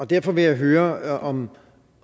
derfor vil jeg høre om